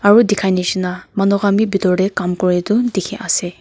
aru dekha misna manu khan tu pikor teh kaam kori tu dekhi ase.